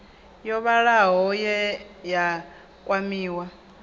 yo vhalaho ye ya kwamiwa